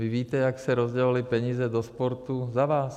Vy víte, jak se rozdělovaly peníze do sportu za vás?